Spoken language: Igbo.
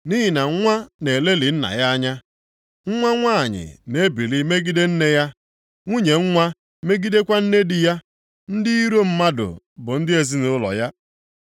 Nʼihi na nwa na-elelị nna ya anya. Nwa nwanyị na-ebili megide nne ya. Nwunye nwa megidekwa nne di ya, ndị iro mmadụ bụ ndị ezinaụlọ ya.